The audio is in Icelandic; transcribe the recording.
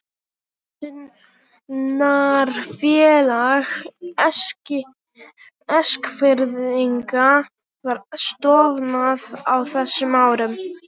Pöntunarfélag Eskfirðinga var stofnað á þessum árum.